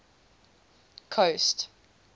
coast